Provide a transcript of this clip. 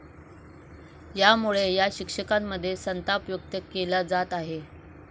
यामुळे या शिक्षकांमध्ये संताप व्यक्त केला जात आहे.